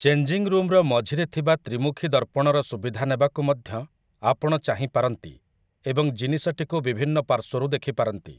Changing ରୁମ୍‌‌ର ମଝିରେ ଥିବା ତ୍ରି ମୁଖୀ ଦର୍ପଣର ସୁବିଧା ନେବାକୁ ମଧ୍ୟ ଆପଣ ଚାହିଁପାରନ୍ତି ଏବଂ ଜିନିଷଟିକୁ ବିଭିନ୍ନ ପାର୍ଶ୍ୱରୁ ଦେଖିପାରନ୍ତି ।